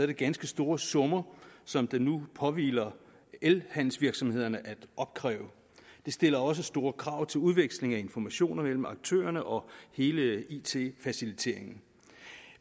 det ganske store summer som det nu påhviler elhandelsvirksomhederne at opkræve det stiller også store krav til udveksling af informationer mellem aktørerne og hele it faciliteringen